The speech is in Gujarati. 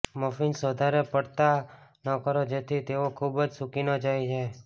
મફિન્સને વધારે પડતા ન કરો જેથી તેઓ ખૂબ સૂકી ન થઈ જાય